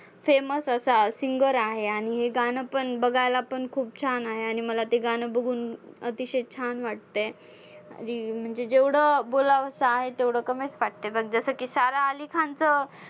same च असा singer आहे आणि हे गाणं पण बघायला पण खूप छान आहे. आणि मला ते गाणं बघून अतिशय छान वाटतंय. म्हणजे जेवढं बोलावसं आहे तेवढं कमीच वाटतंय बघ जसं की सारा आली खानचं